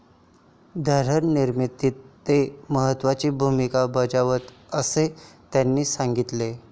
धोरणनिर्मितीत ते महत्वाची भूमिका बजावते, असे त्यांनी सांगितले.